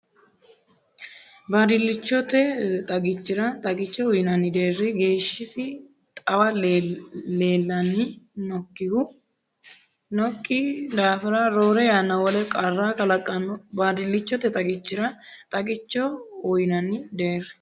Baadillichote xagichira xagicho uyinanni deerri geeshshisi xawe leellan- nokki daafira roore yanna wole qarra kalaqanno Baadillichote xagichira xagicho uyinanni deerri.